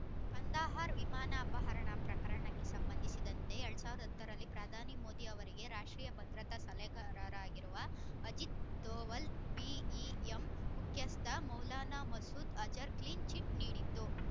ಕಂದಹಾರ್ ವಿಮಾನಾಪಹರಣ ಪ್ರಕರಣಕ್ಕೆ ಸಂಬಂಧಿಸಿದಂತೆ ಎರಡ್ ಸಾವಿರದ ಹತ್ತ ರಲ್ಲಿ ಪ್ರಧಾನಿ ಮೋದಿ ಅವರಿಗೆ ರಾಷ್ಟ್ರೀಯ ಭದ್ರತಾ ಸಲಹೆಗಾರರಾಗಿರುವ ಅಜಿತ್ ದೋವಲ್ ಬಿ ಇಎಂ ಮುಖ್ಯಸ್ಥ ಮೌಲಾನಾ ಮಸೂದ್ ಅಜರ್ ಕ್ಲೀನ್ ಚಿಟ್ ನೀಡಿತ್ತು